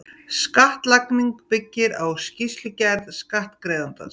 Skattlagning byggir á skýrslugerð skattgreiðandans.